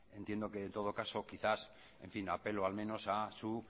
entiendo que en todo caso quizás en fin apelo al menos a su